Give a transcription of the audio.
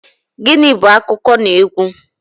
Gịnị bú akụkọnaegwu?